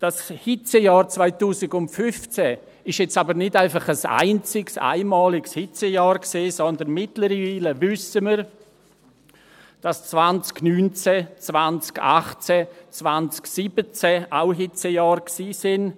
Das Hitzejahr 2015 ist jetzt aber nicht einfach ein einziges, einmaliges Hitzejahr, sondern mittlerweile wissen wir, dass 2019, 2018, 2017 auch Hitzejahre waren.